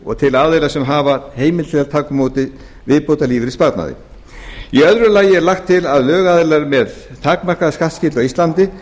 og til aðila sem hafa heimild til að taka á móti viðbótarlífeyrissparnaði í öðru lagi er lagt til að lögaðilum með takmarkaða skattskyldu á íslandi